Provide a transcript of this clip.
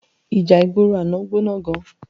Íjá igbóró àná gbóná gán